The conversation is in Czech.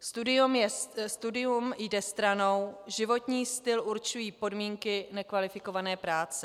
Studium jde stranou, životní styl určují podmínky nekvalifikované práce.